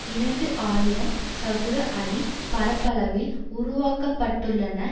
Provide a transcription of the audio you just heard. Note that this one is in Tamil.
இரண்டு ஆயிரம் சதுர அடி பரப்பளவில் உருவாக்க பட்டுள்ளன